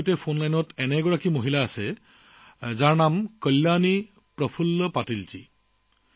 মোৰ লগত ফোন লাইনত তেনে এগৰাকী মহিলা আছে তেওঁ হৈছে কল্যাণী প্ৰফুল্ল পাটিলজী